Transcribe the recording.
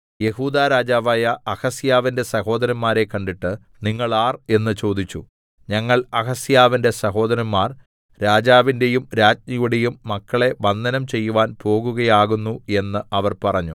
യെഹൂദാ രാജാവായ അഹസ്യാവിന്റെ സഹോദരന്മാരെ കണ്ടിട്ട് നിങ്ങൾ ആർ എന്ന് ചോദിച്ചു ഞങ്ങൾ അഹസ്യാവിന്റെ സഹോദരന്മാർ രാജാവിന്റെയും രാജ്ഞിയുടെയും മക്കളെ വന്ദനം ചെയ്യുവാൻ പോകുകയാകുന്നു എന്ന് അവർ പറഞ്ഞു